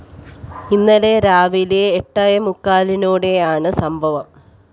ഇന്നലെ രാവിലെ എട്ടേ മുക്കാലോടെയാണ് സംഭവം